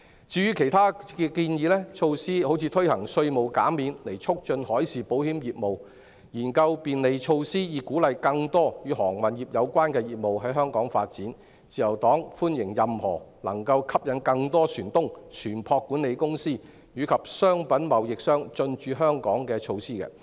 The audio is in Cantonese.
至於其他建議的措施，例如推行稅務減免以促進海事保險業務、研究便利措施以鼓勵更多與航運業有關的業務在香港發展，自由黨歡迎任何能夠吸引更多船東、船舶管理公司和商品貿易商進駐香港的措施。